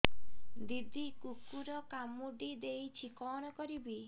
ଦିଦି କୁକୁର କାମୁଡି ଦେଇଛି କଣ କରିବି